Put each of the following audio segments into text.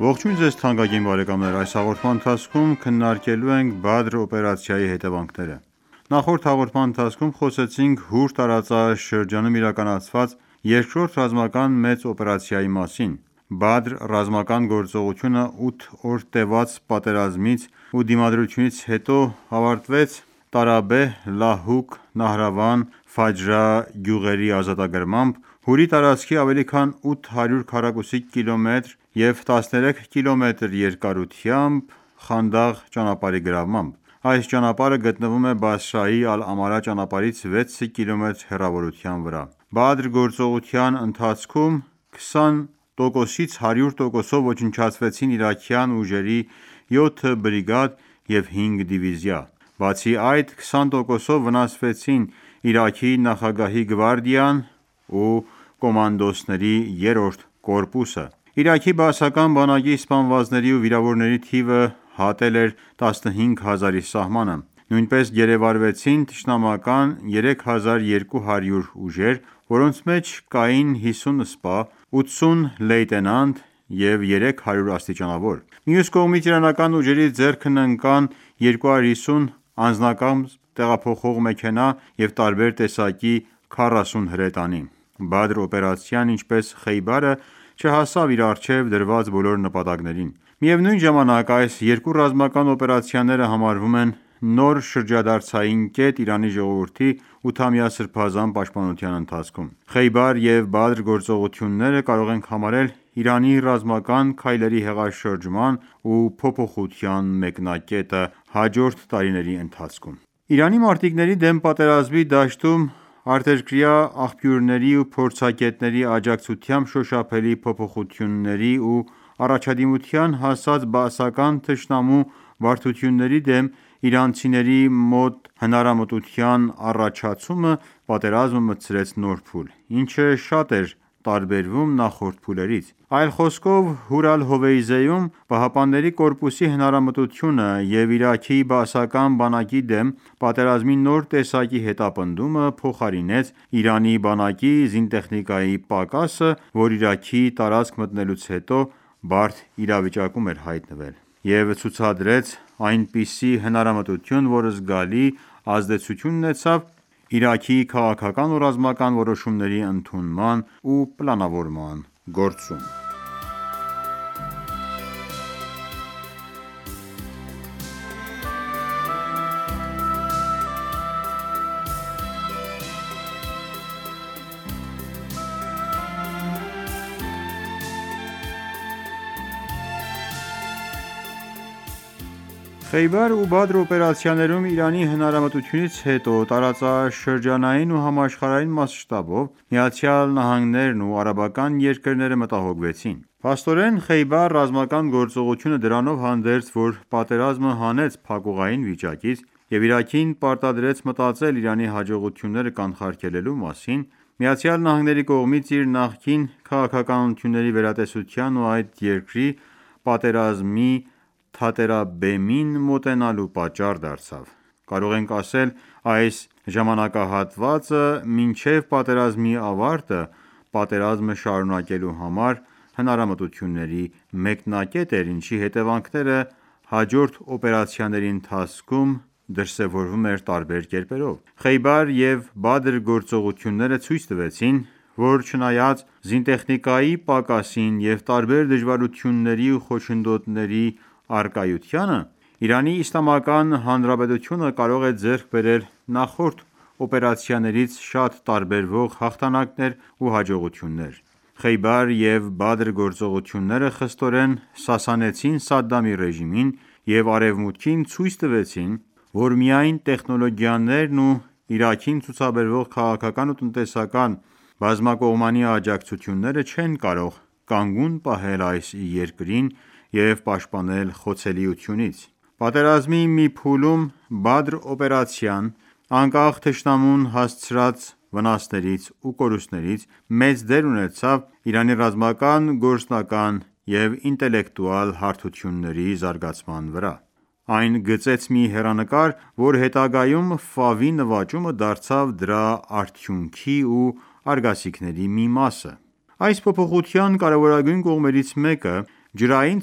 Ողջույն ձեզ թանկագին բարեկամներ: Այս հաղորդման ընթացքում քննարկելու ենք Բադր օպերացիայի հետևանքները: Նախորդ հաղորդման ընթացքում խոսեցինք Հուր տարածաշրջանում իրականացված երկրորդ ռազմական մեծ օպերացիայի մասին: Բադր ռազմական գործողությունը 8 օր տևած պատերազմից ու դիմադրությունից հետո ավարտվեց Տարաբեհ, Լահուկ, Նահրավան, Ֆաջրա գյուղերի ազատագրմամբ, Հուրի տարածքի ավելի քան 800 քառակուսի կիլոմետրի և 13 կմ երկարությամբ Խանդաղ ճանապարհի գրավմամբ: Այս ճանապարհը գտնվում էր Բասրայի Ալ-Ամարա ճանապարհից 6 կիլոմետր հեռավորության վրա: Բադր գործողության ընթացքում 20-ից 100 տոկոսով ոչնչացվեցին իրաքյան ուժերի 7 բրիգադ և հինգ դիվիզիա: Բացի այդ 20 տոկոսով վնասվեցին Իրաքի նախագահի գվարդիան ու կոմանդոսների երրորդ կորպուսը: Իրաքի բաասական բանակի սպանվածների ու վիրավորների թիվը հատել էր 15 հազարի սահմանը: Նույնպես գերեվարվեցին թշնամական 3200 ուժեր, որոնց մեջ կային 50 սպա, 80 լեյտենանտ և 300 աստիճանավոր: Մյուս կողմից իրանական ուժերի ձեռքն ընկան 250 անձնակազմ տեղափոխող մեքենա և տարբեր տեսակի 40 հրետանի: Բարդ օպերացիան ինչպես Խեյբարը չհասավ իր առջև դրված բոլոր նպատակներին: Միևնույն ժամանակ այս երկու ռազմական օպերացիաները համարվում են նոր շրջադարձային կետ Իրանի ժողովրդի 8-ամյա սրբազան պաշտպանության ընթացքում: Խեյբար և Բադր գործողությունները կարող ենք համարել Իրանի ռազմական քայլերի հեղաշրջման ու փոփոխության մեկնակետը՝ հաջորդ տարիների ընթացքում: Իրանի մարտիկների դեմ պատերազմի դաշտում արտերկրյա աղբյուրների ու փորձագետների աջակցությամբ շոշափելի փոփոխություների ու առաջադիմության հասած Բաասական թշնամու բարդությունների դեմ իրանցիների մոտ հնարամտության առաջացումը պատերազմը մտցրեց նոր փուլ, ինչը շատ էր տարբերվում նախորդ փուլերից: Այլ խոսքով Հուր Ալ-Հովեյզեում ԻՀՊԿ-ի հնարամտությունը և Իրաքի բաասական բանակի դեմ պատերազմի նոր տեսակի հետապնդումը փոխարինեց Իրանի բանակի զինտեխնիկայի պակասը, որ Իրաքի տարածք մտնելուց հետո բարդ իրավիճակում էր հայտնվել, և ցուցադրեց այնպիսի հնարամտություն, որ զգալի ազդեցություն ունեցավ Իրաքի քաղաքական ու ռազմական որոշումների ընդունման ու պլանավորման գործում: Խեյբար ու Բադր օպերացիաներում Իրանի հնարամտությունից հետո տարածաշրջանային ու համաշխարհային մասշտաբով ԱՄՆ-ն ու արաբական երկրները մտահոգվեցին: Փաստորեն Խեյբար ռազմական գործողությունը դրանով հանդերձ, որ պատերազմը հանեց փակուղային վիճակից և Իրաքին պարտադրեց մտածել Իրանի հաջողությունները կանխարգելելու մասին, ԱՄՆ-ի կողմից իր նախկին քաղաքականությունների վերատեսության ու այդ երկրի պատերազմի թատերաբեմին մոտենալու պատճառ դարձավ: Կարող ենք ասել այս ժամանակահատվածը մինչև պատերազմի ավարտը պատերազմը շարունակելու համար հնարամտությունների մեկնակետն էր, ինչի հետևանքները հաջորդ օպերացիաների ընթացքում դրսևորվում էր տարբեր կերպերով: Խեյբար և Բադր գործողությունները ցույց տվեցին, որ չնայած զինտեխնիկայի պակասին և տարբեր դժվարությունների ու խոչընդոտների առկայության ԻԻՀ-ն կարող է ձեռք բերել նախորդ օպերացիաներից շատ տարբերվող հաղթանակներ ու հաջողություններ: Խեյբար և Բադր գործողությունները խստորեն սասանեցին Սադդամի ռեժիմին և արևմուտքին ցույց տվեցին, որ միայն տեխնոլոգիաներն ու Իրաքին ցուցաբերվող քաղաքական ու տնտեսական բազմակողմանի աջակցությունները չեն կարող կանգուն պահել այս երկրին և պաշտպանել խոցելիությունից: Պատերազմի մի փուլում Բադր օպերացիան, անկախ թշնամուն հասցրած վնասներից ու կորուստներից, մեծ դեր ունեցավ Իրանի ռազմական գործնական և ինտելեկտուալ հարթությունների զարգացման վրա: Այն գծեց մի հեռանկար, որ հետագայում նվաճումը դարձավ դրա արդյունքի ու արգասիքների մի մասը: Այս փոփոխության կարևորոգույն կողմերից մեկը ջրային-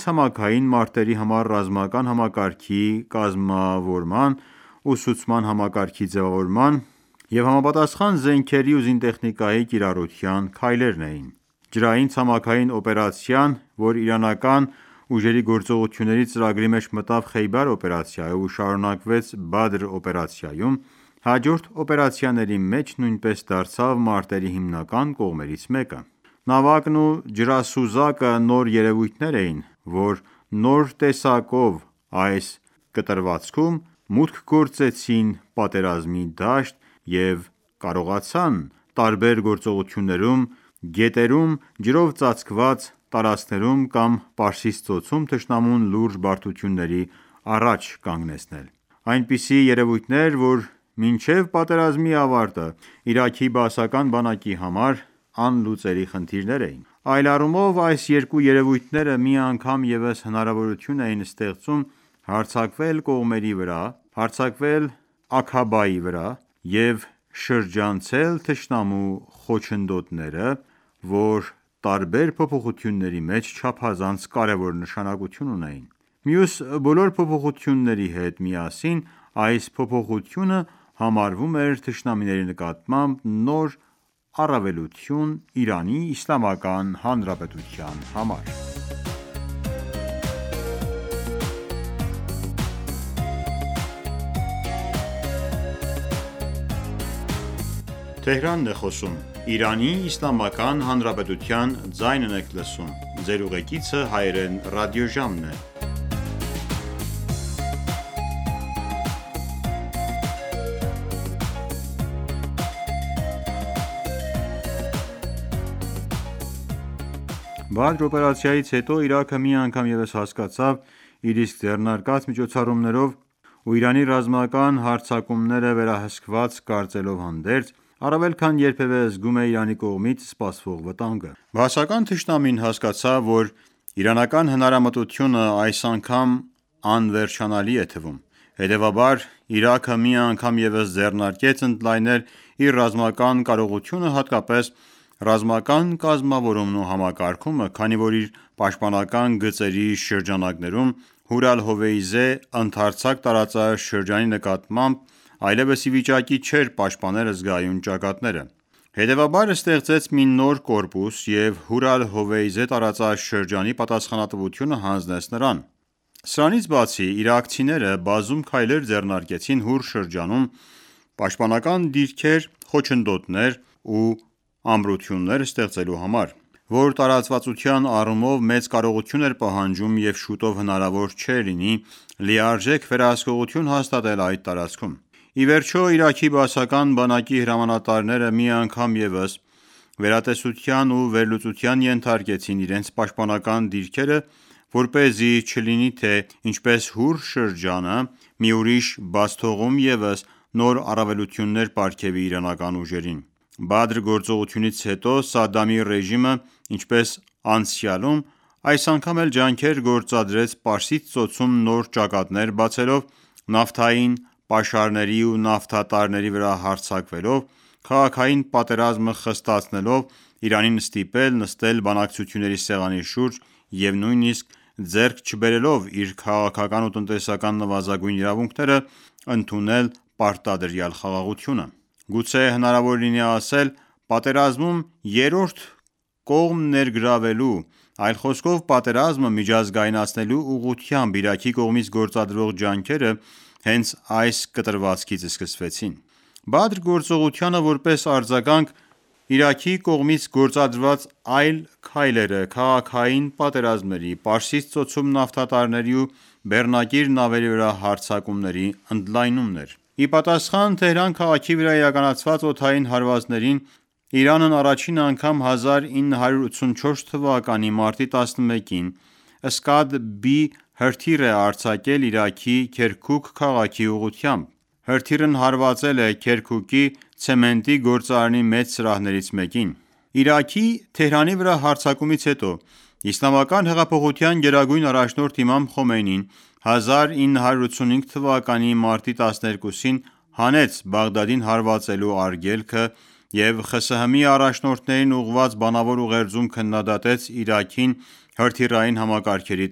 ցամաքային մարտերի համար ռազմական համակարգի կամզավորման, ուսուցման համակարգի ձևավորման և համապատասխան զենքերի ու զինտեխնիկայի կիրառության քայլերն էին: Ջրային-ցամաքային օպերացիան, որ իրանական ուժերի գործողությունների ծրագրի մեջ մտավ Խեյբար օպերացիայով ու շարունակվեց Բադր օպերացիայում, հաջորդ օպերացիաների մեջ նույնպես դարձավ մարտերի հիմնական կողմերից մեկը: Նավակն ու ջրասուզակը նոր երևույթներ էին, որ նոր տեսակով այս կտրվածքում մուտք գործեցին պատերազմի դաշտ և կարողացան տարբեր գործողություններում՝ գետերում, ջրով ծածկված տարածքներում կամ Պարսից Ծոցում թշնամուն լուրջ բարդությունների առաջ կանգնեցնել: Այնպիսի երևույթներ, որ մինչև պատերազմի ավարտը Իրաքի բաասական բանակի համար անլուծելի խնդիրներ էին: Այլ առումով այս երկու երևույթները մի անգամ ևս հնարավորություն էին ստեղծում հարձակվել կողմերի վրա, հարձակվել Աքաբայի վրա և շրջանցել թշնամու խոչընդոտները, որ տարբեր փոփոխությունների մեջ չափազանց կարևոր նշանակություն ունեին: Մյուս բոլոր փոփոխությունների հետ միասին այս փոփոխությունը համարվում էր թշնամիների նկատմամբ նոր առավելություն ԻԻՀ-ի համար: Բադր օպերացիայից հետո Իրաքը մի անգամ ևս հասկացավ իր իսկ ձեռնարկած միջոցառումներով ու Իրանի ռազմական հարձակումները վերահսկված կարծելով հանդերձ առավել քան երբևէ զգում էր Իրանի կողմից սպասվող վտանգը: Բաասական թշնամին հասկացավ որ իրանական հնարամտությունը այս անգամ անվերջանալի է թվում: Հետևաբար Իրաքը մի անգամ ևս ձեռնարկեց ընդլայնել իր ռազմական կարողությունը հատկապես ռազմական կազմավորումն ու համակարգումը, քանի որ իր պաշտպանական գծերի շրջանակներում Հուր Ալ-Հովեյզե ընդարձակ տարածաշրջանի ներառմամբ, այլևս իվիճակի չէր պաշտպանել զգայուն ճակատները: Հետևաբար ստեղծեց մի նոր կորպուս և Հուր Ալ-Հովեյզե տարածաշրջանի պատասխանատվությունը հանձնեց նրան: Սրանցից բացի իրաքցիները բազում քայլեր ձեռնարկեցին Հուր շրջանում պաշտպանական դիրքեր, խոչընդոտներ ու ամրություններ ստեղծելու համար, որ տարածվածության առումով մեծ կարողություն էր պահանջում և շուտով հնարվոր չէր լինի լիարժեք վերահսկողություն հաստատել այդ տարածքում: Իվերջո Իրաքի բաասական բանակի հրամանատարները մի անգամ ևս վերատեսության ու վերլուծության ենթարկեցին իրենց պաշտպանական դիրքերը որպեսզի չլինի թե ինչպես Հուր շրջանը մի ուրիշ բացթողում ևս նոր առավելություններ պարգևի իրանական ուժերին: Բադր գործողությունից հետո Սադդամի ռեժիմը ինչպես անցյալում այս անգամ էլ ջանքեր գործադրեց Պարսից Ծոցում նոր ճակատներ բացելով, նավթային պաշարների ու նավթատարների վրա հարձակվելով, քաղաքային պատերազմը խստացնելով Իրանին ստիպել նստել բանակցությունների սեղանի շուրջ ու նույնիսկ ձեռք չբերելով իր քաղաքական ու տնտեսական նվազագույն իրավունքները ընդունել պարտադրյալ խաղաղությունը: Գուցե հնարավոր լինի ասել.«Պատերազմում երրորդ կողմ ներգրավելու, այլ խոսքով պատերազմը միջազգայնացնելու ուղղությամբ Իրաքի կողմից գործադրվող ջանքերը հենց այս կտրվածքից սկսվեցին»: Բադր գործողությանը որպես արձագանք Իրաքի կողմից գործադրված այլ քայլերը քաղաքային պատերազմների, Պարսից Ծոցում նավթատարների ու բեռնակիր նավերի վրա հարձակումների ընդլայնումն էր: Ի պատասխան Թեհրան քաղաքի վրա իրականացված օդային հարվածներին Իրանն առաջին անգամ 1984 թվականի մարտի 11-ին «Սկադբի» հրթիռ է արձակել Իրաքի Քերքուկ քաղաքի ուղղությամբ: Հրթիռն հարվածել է Քերքուկի ցեմենտի գործարանի մեծ սրահներից մեկին։ Իրաքի Թեհրանի վրա հարձակումից հետո Իսլամական հեղափոխության գերագույն առաջնորդ Իմամ Խոմեյնին 1985 թվականի մարտի 12-ին հանեց Բաղդադին հարվածելու արգելքը և ԽՍՀՄ-ի առաջնորդներին ուղղված բանավոր ուղերձում քննադատեց Իրաքին հրթիռային համակարգերի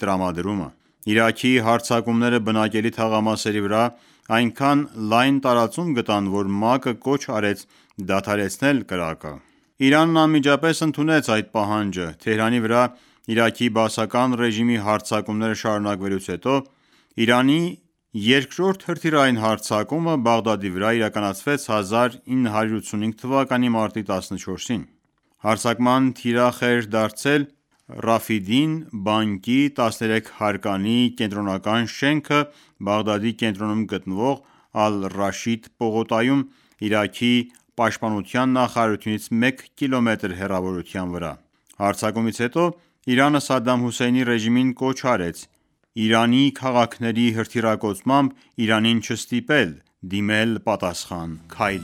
տրամադրումը: Իրաքի հարձակումները բնակելի թաղամասերի վրա այնքան լայն տարածում գտան, որ ՄԱԿ-ը կոչ արեց դադարեցնել կրակը: Իրանն անմիջապես ընդունեց այդ պահանջը: Թեհրանի վրա Իրաքի Բաասական ռեժիմի հարձակումները շարունակվելուց հետո Իրանի երկրորդ հրթիռային հարձակումը Բաղդադի վրա իրականացվեց 1985 թվականի մարտի 14-ին։ Հարձակման թիրախ էր դարձել բանկի 13 հարկանի կենտրոնական շենքը Բաղդադի կենտրոնում գտնվող Ալ-Ռաշիդ պողոտայում՝ Իրաքի պաշտպանության նախարարությունից մեկ կիլոմետր հեռավորության վրա: Հարձակումից հետո Իրանը Սադամ Հոսեյնի ռեժիմին կոչ արեց Իրանի քաղաքների հրթիռակոծմամբ Իրանին չստիպել դիմել պատասխան քայլի: